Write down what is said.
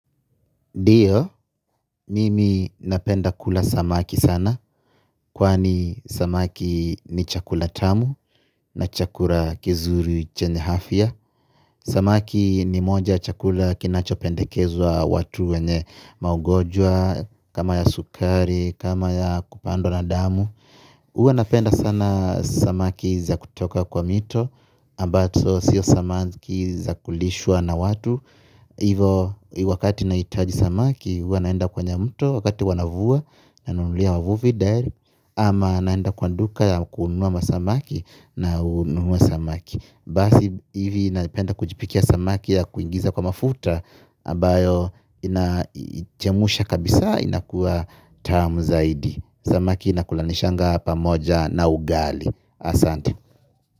Ndio, mimi napenda kula samaki sana, kwani samaki ni chakula tamu na chakula kizuri chenye afya. Samaki ni moja ya chakula kinachopendekezwa watu wenye maugonjwa, kama ya sukari, kama ya kupandwa na damu. Huwa napenda sana samaki za kutoka kwa mito, ambazo sio samaki za kulishwa na watu. Hivo wakati nahitaji samaki huwa naenda kwenye mto wakati wanavua. Nanunulia wavuvi direct ama naenda kwa duka kununua masamaki nanunua samaki. Basi hivi napenda kujipikia samaki ya kuingiza kwa mafuta ambayo inachemusha kabisa inakuwa tamu zaidi. Samaki inakulanishanga pamoja na ugali. Asanti.